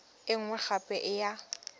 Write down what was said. e nngwe gape e ya